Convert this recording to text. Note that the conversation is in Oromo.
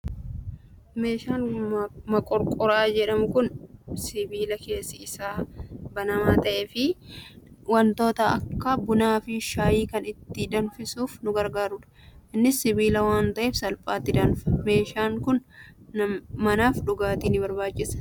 Meeshaan moqorqoraa jedhamu kan sibiila keessi isaa banamaa ta'ee fi wantoota akka bunaa fi shaayii kan itti danfisuuf nu gargaarudha. Innis sibiila waan ta'eef salphaatti danfa. Meeshaan kun manaaf dhugaatti ni barbaachisa.